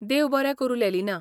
देव बरें करूं, लेलिना.